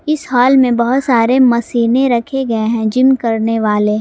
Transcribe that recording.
इस हाल में बहुत सारे मशीनें रखे गए हैं जिम करने वाले।